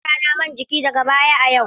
Zan saya wa yarana man jiki daga baya a yau.